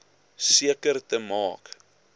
seker te maak